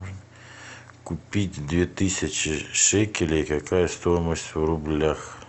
купить две тысячи шекелей какая стоимость в рублях